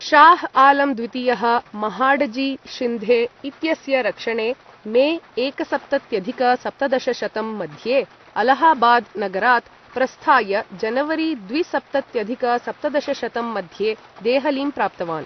शाह् आलम् द्वितीयः, महाडजी शिन्धे इत्यस्य रक्षणे मे एकसप्तत्यधिक सप्तदशशतं मध्ये अलाहाबाद् नगरात् प्रस्थाय जनवरी द्विसप्तत्यधिक सप्तदशशतं मध्ये देहलीं प्राप्तवान्।